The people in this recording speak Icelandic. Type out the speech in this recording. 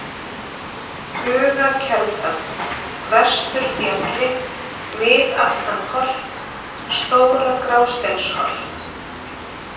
Bugakelda, Vesturbjalli, Miðaftanholt, Stóra-Grásteinsholt